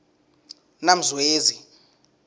namzwezi